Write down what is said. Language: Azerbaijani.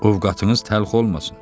Ovqadınız təlx olmasın.